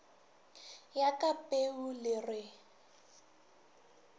ya ka peu le re